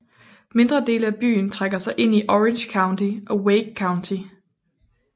Mindre dele af byen trækker sig ind i Orange County og Wake County